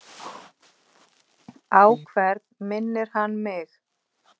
Á hvern minnir hann mig?